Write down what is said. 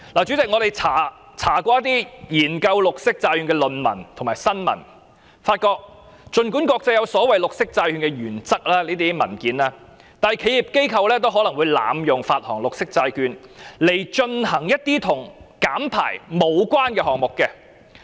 主席，我們查閱過一些研究綠色債券的論文和新聞，發現儘管國際間有所謂綠色債券原則的文件，但企業機構也會濫用綠色債券來進行一些與減排無關的項目。